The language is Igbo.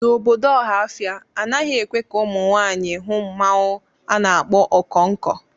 N'obodo Ọhafia, anaghị ekwe ka ụmụ nwanyị hụ mmanwu a na-akpọ Okonko.